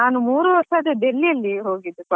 ನಾನ್ ಅದೇ ನಾನು ಮೂರು ವರ್ಷ Delhi ಅಲ್ಲಿ ಹೋಗಿದ್ದು college ಗೆ.